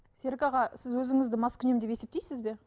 серік аға сіз өзіңізді маскүнем деп есептейсіз бе